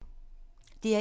DR1